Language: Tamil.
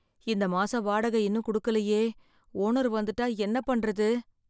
இந்த மாசம் வாடகை இன்னும் கொடுக்கலையே ஓனர் வந்துட்டா என்ன பண்றது?